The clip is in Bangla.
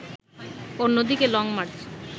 অন্যদিকে লংমার্চ